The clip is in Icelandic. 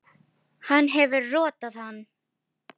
Hann hefur rotað hann!